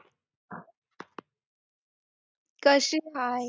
कशी आहे?